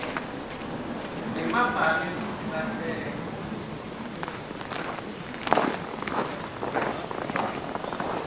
ngemabhange kutsi batsenge